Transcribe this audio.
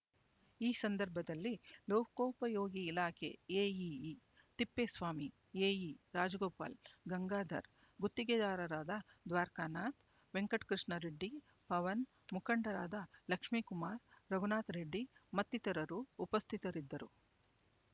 ಈ ಸಂದರ್ಭದಲ್ಲಿ ಲೋಕೋಪಯೋಗಿ ಇಲಾಖೆ ಎಇಇ ತಿಪ್ಪೇಸ್ವಾಮಿ ಎಇ ರಾಜಗೋಪಾಲ್ ಗಂಗಾಧರ್ ಗುತ್ತಿಗೆದಾರರಾದ ದ್ವಾರಕನಾಥ್ ವೆಂಕಟಕೃಷ್ಣಾರೆಡ್ಡಿ ಪವನ್ ಮುಖಂಡರಾದ ಲಕ್ಷ್ಮಿಕುಮಾರ್ ರಘುನಾಥರೆಡ್ಡಿ ಮತ್ತಿತರರು ಉಪಸ್ಥಿತರಿದ್ದರು